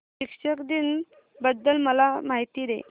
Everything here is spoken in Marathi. शिक्षक दिन बद्दल मला माहिती दे